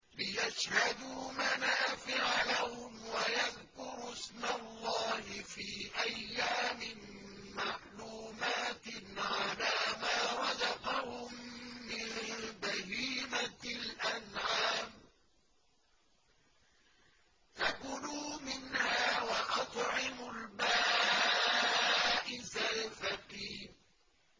لِّيَشْهَدُوا مَنَافِعَ لَهُمْ وَيَذْكُرُوا اسْمَ اللَّهِ فِي أَيَّامٍ مَّعْلُومَاتٍ عَلَىٰ مَا رَزَقَهُم مِّن بَهِيمَةِ الْأَنْعَامِ ۖ فَكُلُوا مِنْهَا وَأَطْعِمُوا الْبَائِسَ الْفَقِيرَ